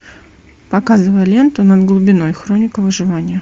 показывай ленту над глубиной хроника выживания